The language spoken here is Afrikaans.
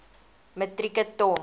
metrieke ton